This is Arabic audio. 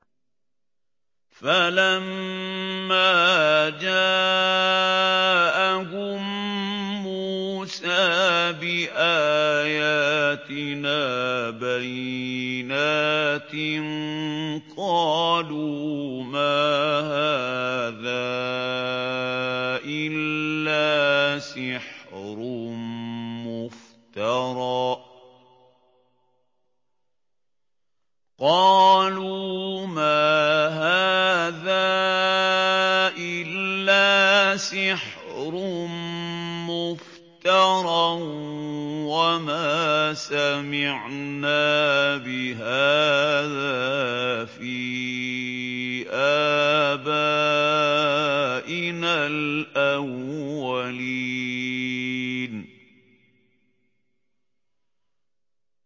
فَلَمَّا جَاءَهُم مُّوسَىٰ بِآيَاتِنَا بَيِّنَاتٍ قَالُوا مَا هَٰذَا إِلَّا سِحْرٌ مُّفْتَرًى وَمَا سَمِعْنَا بِهَٰذَا فِي آبَائِنَا الْأَوَّلِينَ